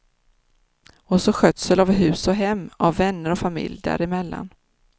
Och så skötsel av hus och hem, av vänner och familj däremellan.